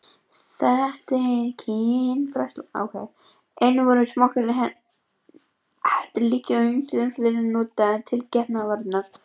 Einnig voru smokkar, hettur, lykkjur og ýmislegt fleira notað til getnaðarvarna.